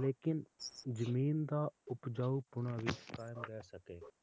ਲੇਕਿਨ ਜਮੀਨ ਦਾ ਉਪਜਾਊਪੁਣਾ ਵੀ ਕਾਇਮ ਰਹਿ ਸਕੇ